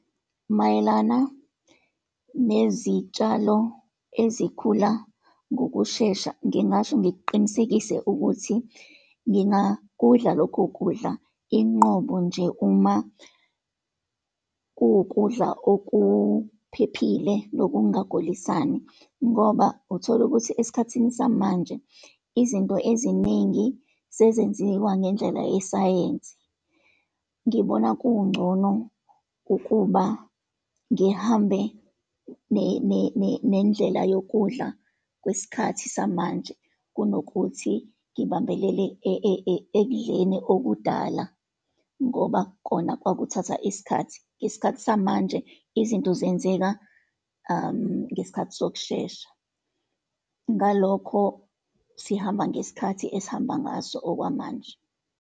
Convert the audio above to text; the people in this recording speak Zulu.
Mayelana nezitshalo ezikhula ngokushesha, ngingasho ngiqinisekise ukuthi ngingakudla lokho kudla, inqobo nje uma kuwukudla okuphephile, nokungagulisani. Ngoba uthola ukuthi esikhathini samanje izinto eziningi sezenziwa ngendlela yesayensi. Ngibona kungcono ukuba ngihambe nendlela yokudla kwesikhathi samanje, kunokuthi ngibambelele ekudleni okudala, ngoba kona kwakuthatha isikhathi. Ngesikhathi samanje, izinto zenzeka ngesikhathi sokushesha, ngalokho sihamba ngesikhathi esihamba ngaso okwamanje.